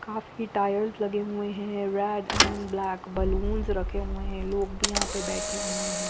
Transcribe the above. काफी टायरस लगे हुए है रेड अंड ब्लैक बलून रखे हुए है लोग भी यहाँ पर बेठे हुए है।